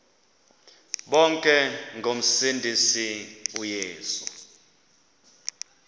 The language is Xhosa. bonke ngomsindisi uyesu